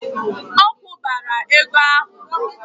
Ọ kwụbara ego ahụ!